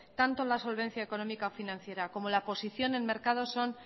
tanto la solvencia económica financiera como la posición en mercados son